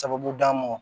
Sababu d'an ma